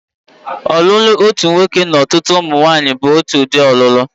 Ọlụlụ otu nwoke na ọtụtụ ụmụnwanyị bu otu udi ọlụlụ.